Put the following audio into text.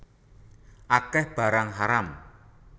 Akeh barang haram